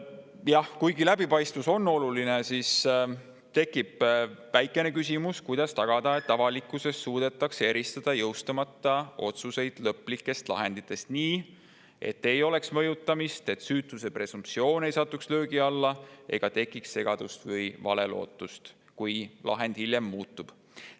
Jah, kuigi läbipaistvus on oluline, tekib väikene küsimus, kuidas tagada, et avalikkuses suudetakse eristada jõustumata otsuseid lõplikest lahenditest, nii et ei oleks mõjutamist, et süütuse presumptsioon ei satuks löögi alla ega tekiks valet lootust või segadust, kui lahend hiljem muutub.